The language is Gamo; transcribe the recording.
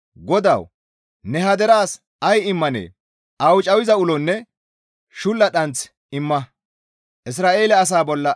GODAWU! Ne ha deraas ay immanee? Awucayiza ulonne shulla dhanth imma!